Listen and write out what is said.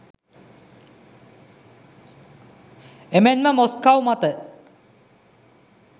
එමෙන්ම මොස්කව් මත